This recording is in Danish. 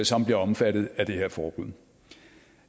som bliver omfattet af det her forbud